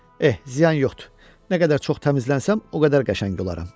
Eh, ziyan yoxdur, nə qədər çox təmizlənsəm, o qədər qəşəng olaram.